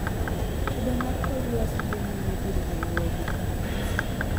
Kido mar kor lwasi dhi nyime biro Nairobi